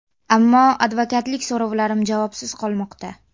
Ammo advokatlik so‘rovlarim javobsiz qolmoqda.